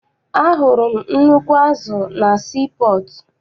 Ahụrụ m nnukwu azụ na sii pọọtụ.